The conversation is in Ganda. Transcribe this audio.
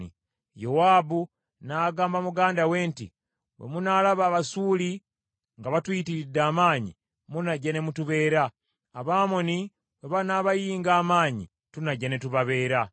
Yowaabu n’agamba muganda we nti, “Bwe munaalaba Abasuuli nga batuyitiridde amaanyi, munajja ne mutubeera. Abamoni bwe banaabayinga amaanyi, tunajja ne tubabeera.